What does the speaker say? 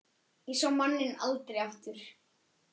Ég sá manninn aldrei aftur.